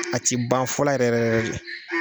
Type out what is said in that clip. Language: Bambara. A ti ban fɔɔla yɛrɛ yɛrɛ yɛrɛ de